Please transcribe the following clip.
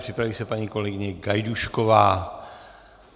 Připraví se paní kolegyně Gajdůšková.